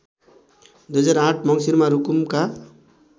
२००८ मङ्सिरमा रुकुमका